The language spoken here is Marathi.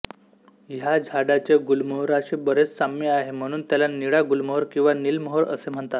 ह्या झाडाचे गुलमोहराशी बरेच साम्य आहे म्हणून त्याला निळा गुलमोहर किंवा नीलमोहर असे म्हणतात